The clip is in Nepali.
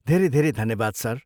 धेरै धेरै धन्यवाद सर।